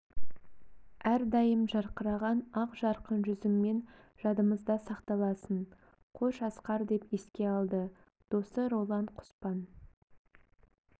әрдайым жарқыраған ақ жарқын жүзіңмен жадымызда сақталасын қош асқар деп еске алды досы роллан құспан